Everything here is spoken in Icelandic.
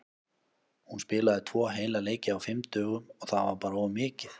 Hún spilaði tvo heila leiki á fimm dögum og það var bara of mikið.